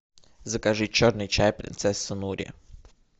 закажи черный чай принцесса нури